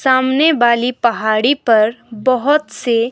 सामने वाली पहाड़ी पर बहुत से।